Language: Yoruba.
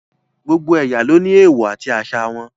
Gbogbo ẹ̀yà ló ní èèwọ̀ àṣà ti wọn